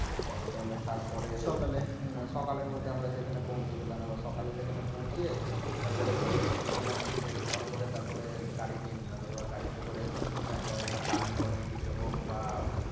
এ তাহলে তার পরে সকালে হম সকালের মধ্যে আমরা সেখানে পৌছিয়ে গেলাম এবার সকালে সেখানে পৌছিয়ে তারপরে ফ্রেশ হলাম ফ্রেশ হওয়ার পরে তারপরে গাড়ি নিয়ে নিলাম এবার গাড়িতে করে হয় আমরা Kalimpong এর দিকে হোক বা